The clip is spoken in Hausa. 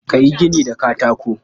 Ka yi gini da katako.